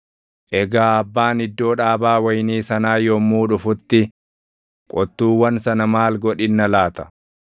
“Egaa abbaan iddoo dhaabaa wayinii sanaa yommuu dhufutti qottuuwwan sana maal godhinna laata?”